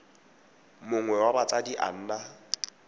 mongwe wa batsadi a nna